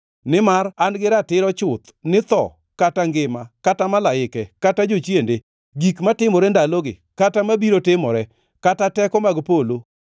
Nimar an gi ratiro chuth ni tho kata ngima, kata malaike, kata jochiende, gik matimore ndalogi kata mabiro timore, kata teko mag polo,